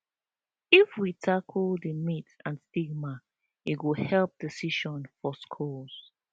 if we tackle di myths and stigma e go help decision for schools